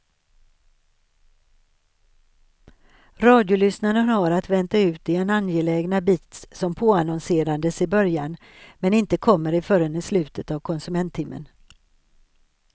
Radiolyssnaren har att vänta ut den angelägna bit som påannonserades i början men inte kommer förrän i slutet av konsumenttimmen.